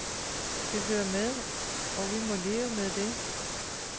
Det hører med, og vi må leve med det.